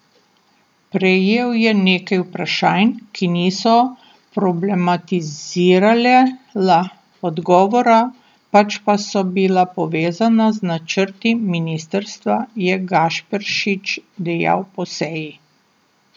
Prejel je nekaj vprašanj, ki niso problematizirala odgovora, pač pa so bila povezana z načrti ministrstva, je Gašperšič dejal po seji.